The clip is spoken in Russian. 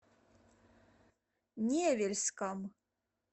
невельском